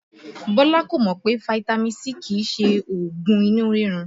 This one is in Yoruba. Bọ́lá kò mọ̀ pé fitami C kìí ṣe oògùn inú rírun